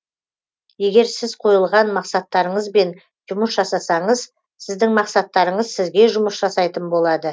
егер сіз қойылған мақсаттарыңызбен жұмыс жасасаңыз сіздің мақсаттарыңыз сізге жұмыс жасайтын болады